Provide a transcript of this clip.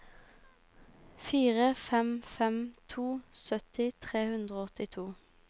fire fem fem to sytti tre hundre og åttito